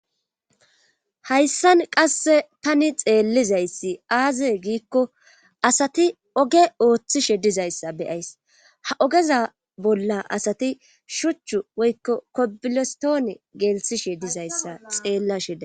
hayssan qasse tani xeellizayssi aaze giikko asati oge ooththishe dizayssa beyays ha ogeza bolla asati shuchchu woykko kobilestoone geelsishe dizayssa xeellasheda